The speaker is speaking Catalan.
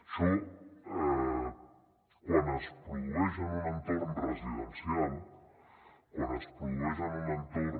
això quan es produeix en un entorn residencial quan es produeix en un entorn